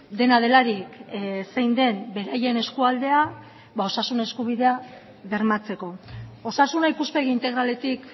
dena delarik zein den beraien eskualdea ba osasun eskubidea bermatzeko osasuna ikuspegi integraletik